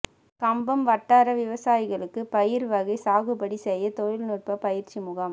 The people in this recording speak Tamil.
கம்பம் வட்டார விவசாயிகளுக்குபயறு வகை சாகுபடி செய்ய தொழில் நுட்ப பயிற்சி முகாம்